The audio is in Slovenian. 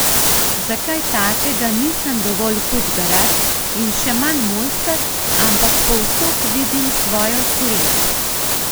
Za kaj takega nisem dovolj hud garač in še manj mojster, ampak povsod vidim svojo sled.